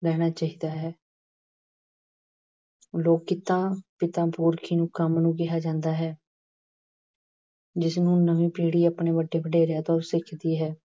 ਰਹਿਣਾ ਚਾਹੀਦਾ ਹੈ। ਲੋਕ ਕਿੱਤਾ ਪਿਤਾ ਪੁਰਖੀ ਕੰਮ ਨੂੰ ਕਿਹਾ ਜਾਂਦਾ ਹੈ। ਜਿਸ ਨੂੰ ਨਵੀਂ ਪੀੜ੍ਹੀ ਆਪਣੇ ਵੱਡੇ ਵਡੇਰਿਆਂ ਤੋਂ ਸਿਖਦੀ ਹੈ।